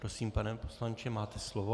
Prosím, pane poslanče, máte slovo.